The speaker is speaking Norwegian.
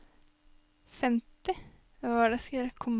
femti